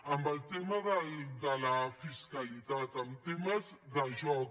amb el tema de la fiscalitat amb temes de joc